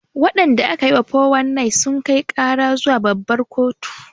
Waɗanda aka yi wa 419 sun kai ƙara zuwa babbar kotu